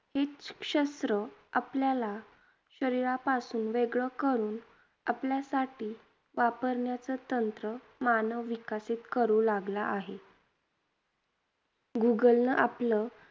तेच शस्त्र आपल्याला शरीरापासून वेगळं करून आपल्यासाठी वापरण्याचं तंत्र मानव विकसित करू लागला आहे. Google न आपलं